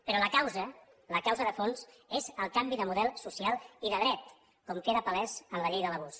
però la causa la causa de fons és el canvi de model social i de drets com queda palès en la llei de l’abús